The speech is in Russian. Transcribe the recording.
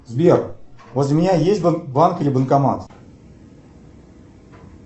сбер возле меня есть банк или банкомат